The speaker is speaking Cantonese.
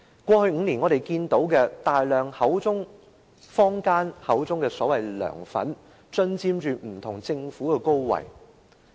過去5年，我們聽到坊間說有大量的所謂"梁粉"進佔不同的政府高位。